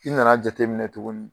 I nana jateminɛ tuguni